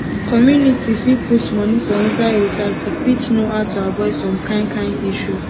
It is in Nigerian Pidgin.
community fit put money for inside research to fit know how to avoid some kind kind issues